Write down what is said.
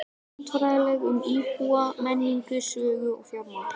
Landfræðilega, um íbúa, menningu, sögu og fjármál?